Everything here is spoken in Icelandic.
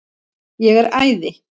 Ég er æði.